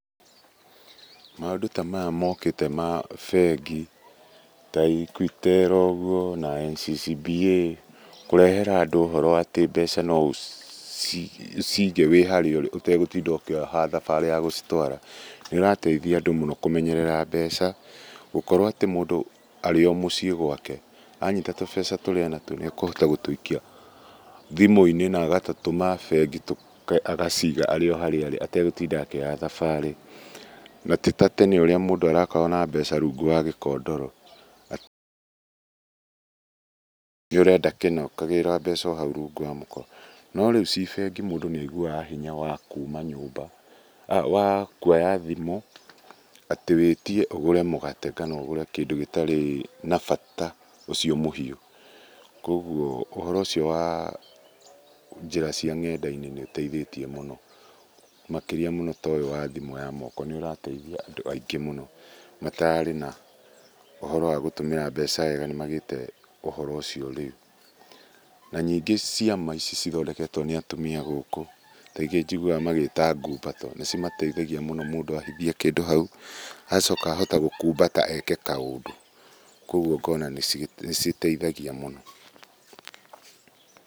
Maũndũ ta maya mokĩte ma bengi ta Equitel ũguo na NCCBA kũrehera andũ ũhoro atĩ mbeca no ũciige wĩ harĩa ũrĩ ũtegũtinda ũkĩoha thabarĩ ya gũcitwara, nĩũrateithia andũ mũno kũmenyerera mbeca. Gũkorwo atĩ mũndũ arĩ o mũcii gwake, anyiita tũbeca tũrĩa enatuo nĩekũhota gũtũikia thimũ-inĩ na agatũtũma bengi agaciiga arĩ harĩa arĩ ategũtinda akĩoha thabarĩ. Na ti ta tene ũrĩa mũndũ arakoragwo na mbeca rungu rwa gĩkondoro, angĩkorwo nĩ ũrenda kĩna ũkagĩra mbeca o hau rungu rwa mũkondoro. No rĩu cii bengi mũndũ nĩaiguaga hinya wa kuuma nyũmba, wa kũoya thimũ atĩ wĩtie ũgũre mũgate kana ũgũre kĩndũ gĩtarĩ na bata ũcio mũhiũ. Kũoguo ũhoro ũcio wa njĩra cia nenda-inĩ nĩ ũteithĩtie mũno. Makĩrĩa mũno ta ũyũ wa thimũ ya moko, nĩ ũrateithia andũ aingĩ mũno matararĩ na ũhoro wa gũtũmĩra mbeca wega nĩmagĩte ũhoro ũcio rĩũ. Na ningĩ ciama ici cithondeketwo nĩ atumia gũkũ, ta ingĩ njiguaga magĩta ngumbato, nĩcimateithagia mũno mũndũ ahithie kĩndũ hau, agacooka ahota gũkuumbata eke kaũndũ. Kũoguo ngona nĩcigiteithagia mũno.